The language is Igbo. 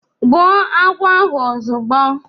Gbụo agwọ ahụ ozugbo